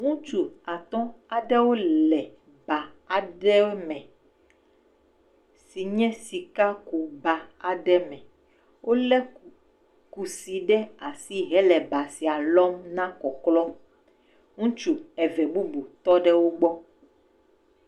Ŋutsu atɔ̃ aɖewo le ba aɖewo me si nye sikakuba aɖe me. Wolé kusi ɖe asi hele ba sia lɔm hena kɔklɔ. Ŋutsu eve bubu tɔ ɖe wogbɔ.